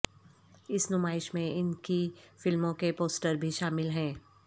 اس نمائش میں ان کی فلموں کے پوسٹر بھی شامل ہیں